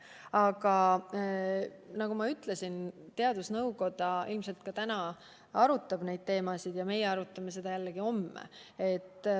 Aga nagu ma ütlesin, teadusnõukoda ilmselt ka täna arutab neid teemasid ja meie arutame neid homme.